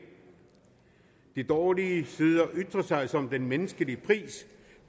de dårlige sider ytrer sig som den menneskelige pris